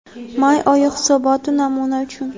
May oyi hisoboti namuna uchun.